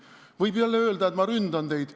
Võib jälle öelda, et ma ründan teid.